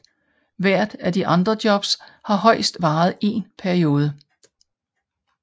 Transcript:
Hvert af de andre jobs har højst varet én episode